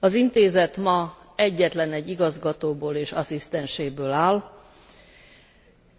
Az Intézet ma egyetlenegy igazgatóból és asszisztenséből áll,